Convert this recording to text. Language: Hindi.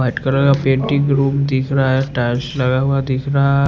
वाइट कलर का पेंटिंग रूम दिख रहा है टाइल्स लगा हुआ दिख रहा--